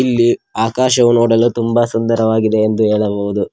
ಇಲ್ಲಿ ಆಕಾಶವು ನೋಡಲು ತುಂಬ ಸುಂದರವಾಗಿದೆ ಎಂದು ಹೇಳಬಹುದು.